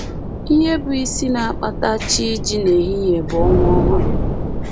Ihe bụ isi na-akpata chi iji n’ehihie bụ ọnwa ọhụrụ